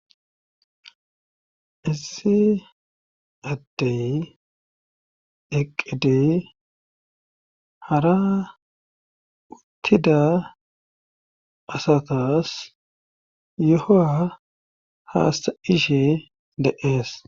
issi addey eqqidey hara uttida asatas yohoa haasta ishe deees